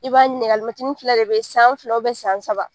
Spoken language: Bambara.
I b'a ɲininka alimɛtini fila de be yen. San fila san saba.